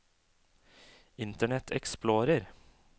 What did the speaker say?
internet explorer